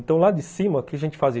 Então, lá de cima, o que a gente fazia?